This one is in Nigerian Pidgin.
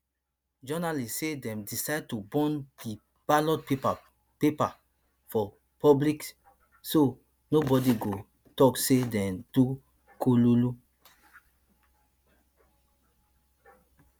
journalists say dem decide to burn di ballot paper paper for public so nobody go tok say dey do kululu